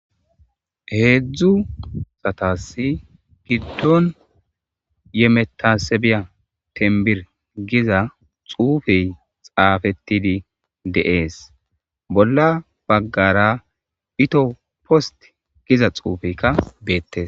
Hedzdzu asata garissan giddon yemetasebiya temiber gizza xufezi xafetidi de'es bolla bagara ethio post gizza xuffekka bettes.